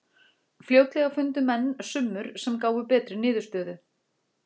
Fljótlega fundu menn summur sem gáfu betri niðurstöðu.